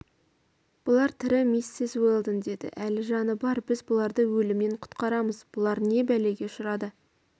бұлар тірі миссис уэлдон деді әлі жаны бар біз бұларды өлімнен құтқарамыз бұлар не бәлеге ұшырады